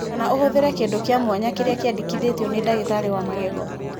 Kana ũhũthĩre kĩndũ kĩa mwanya kĩrĩa kĩendekithĩtio nĩ ndagĩtarĩ wa magego.